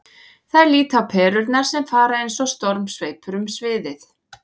Þær líta á perurnar sem fara eins og stormsveipur um sviðið.